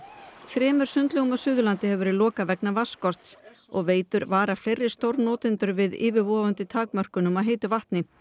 þremur sundlaugum á Suðurlandi hefur verið lokað vegna vatnsskorts og Veitur vara fleiri stórnotendur við yfirvofandi takmörkunum á heitu vatni